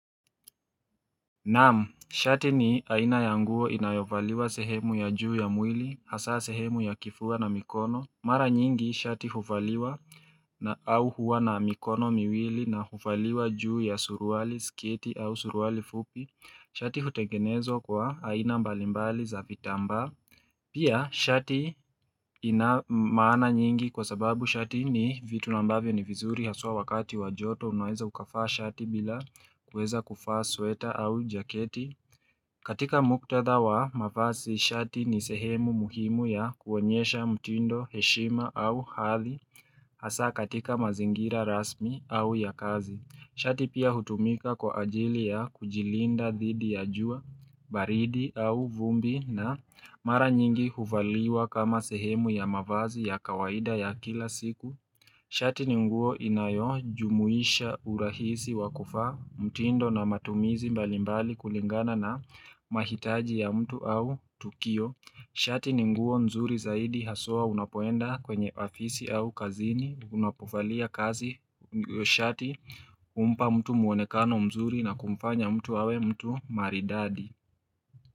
Naam, shati ni haina ya nguo inayovaliwa sehemu ya juu ya mwili, hasa sehemu ya kifua na mikono Mara nyingi, shati huvaliwa au huwa na mikono miwili na huvaliwa juu ya suruwali, sketi au suruwali fupi Shati hutengenezwa kwa aina mbalimbali za vitambaa Pia shati ina maana nyingi kwa sababu shati ni vitu na ambavyo ni vizuri haswa wakati wa joto unaeza ukavaa shati bila kuweza kuvaa sweta au jaketi. Katika muktadha wa mavasi shati ni sehemu muhimu ya kuonyesha mtindo heshima au hadhi hasaa katika mazingira rasmi au ya kazi. Shati pia hutumika kwa ajili ya kujilinda dhidi ya jua, baridi au vumbi na mara nyingi huvaliwa kama sehemu ya mavazi ya kawaida ya kila siku. Shati ni nguo inayojumuisha urahisi wa kuvaa, mtindo na matumizi mbalimbali kulingana na mahitaji ya mtu au tukio. Shati ni nguo mzuri zaidi haswa unapoenda kwenye ofisi au kazini, unapovalia kazi, shati, humpa mtu mwonekano mzuri na kumfanya mtu awe mtu maridadi.